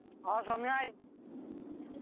ହଁ ସୋମ୍ୟ ଭାଇ।